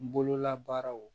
N bololabaaraw